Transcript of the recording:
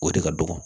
O de ka dɔgɔ